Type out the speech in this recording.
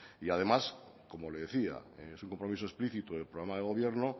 y además como le decía es un compromiso explícito del programa de gobierno